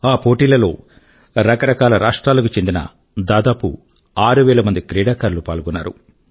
ఆ పోటీల లో రకరకాల రాష్ట్రాల కు చెందిన దాదాపు ఆరు వేల మంది క్రీడాకారులు పాల్గొన్నారు